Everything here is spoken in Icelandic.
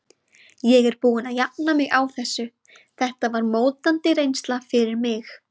Ég er búinn að jafna mig á þessu, þetta var mótandi reynsla fyrir mig.